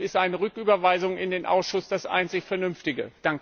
Deshalb ist eine Rücküberweisung in den Ausschuss das einzig vernünftige.